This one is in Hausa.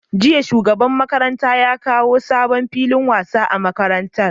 Jiya shugaban makarantar ya kawo sabon filin wasa a makarantar